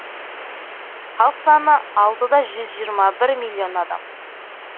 халық саны алты да жүз жиырма бір миллион адам